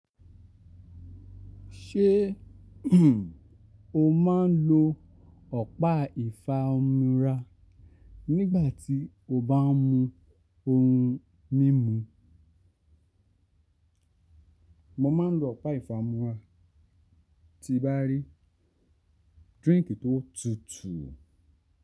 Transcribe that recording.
Ṣé o máa ń lo ọ̀pá ìfa omi ra nígbà tí o bá ń mu ohun mímu? Mo máa ń lo ọ̀pá ìfa omi ra tí bá rí drink tó tutù.